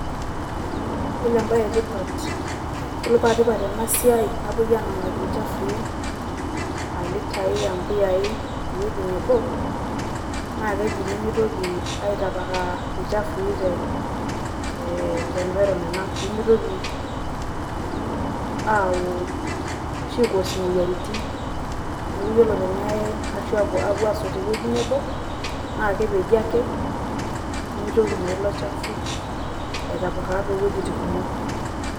Yiolo ebae etipat, yiolo patipat enasiai napoi anang'aki ilchafui alitai ampuyai ewoi nebo, naa keji pemitoki ai tapakaa ilchafui te environment ang'. Pimitoki aau ashu ai cause imoyiaritin. Neeku yiolo tenei ashu apuo asot tewueji nebo, naa kepeji ake, nimitoki naa ilo chafu ai tapakaa towuejiting kumok.